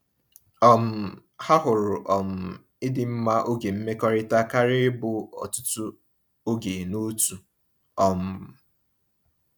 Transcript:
um Ha hụrụ um ịdị mma oge mmekọrịta karịa ịbụ ọtụtụ oge n’otu. um